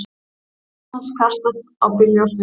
Ljós hans kastast á bílljósin.